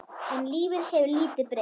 En lífið hefur lítið breyst.